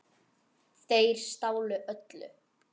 Þeir stálu öllu.